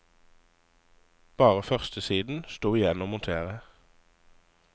Bare førstesiden sto igjen å montere.